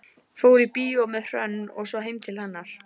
Fór í bíó með Hrönn og svo heim til hennar.